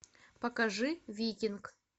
покажи викинг